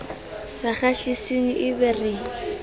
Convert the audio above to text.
sa kgahliseng e be re